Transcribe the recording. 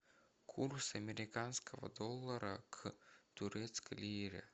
курс американского доллара к турецкой лире